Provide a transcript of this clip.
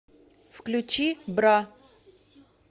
включи бра